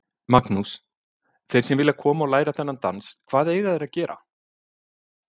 Magnús: Þeir sem vilja koma og læra þennan dans, hvað eiga þeir að gera?